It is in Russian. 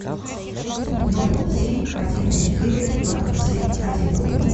ноль семь один четыре два семь один